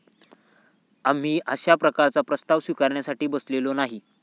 आम्ही अशा प्रकारचा प्रस्ताव स्विकारण्यासाठी बसलेलो नाही.